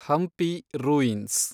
Hampi ruins